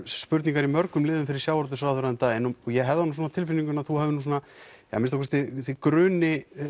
spurningar í mörgum liðum fyrir sjávarútvegsráðherra um daginn og ég hef það á tilfinningunni að þú hafir svona eða að minnsta kosti þig gruni